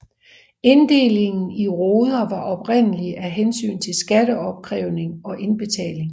Inddelingen i roder var oprindelig af hensyn til skatteopkrævning og indbetaling